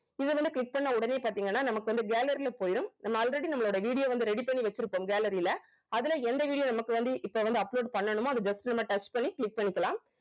இது வந்து click பண்ண உடனே பார்த்தீங்கன்னா நமக்கு வந்து gallery ல போயிடும் நம்ம already நம்மளோட video வந்து ready பண்ணி வெச்சிருக்போம் gallery ல அதுல எந்த video நமக்கு வந்து இப்ப வந்து upload பண்ணனுமோ அத just நம்ம touch பண்ணி click பண்ணிக்கலாம்